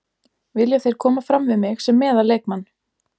Vilja þeir koma fram við mig sem meðal leikmann.